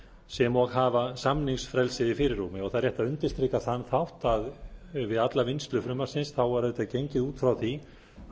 sem og hafa samningsfrelsið í fyrirrúmi það er rétt að undirstrika þann þátt að við alla vinnslu frumvarpsins var auðvitað gengið út frá því að